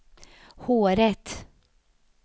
håret